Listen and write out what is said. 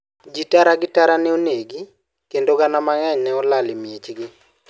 Ji tara gi tara ne onegi, kendo gana mang'eny ne olalo miechgi.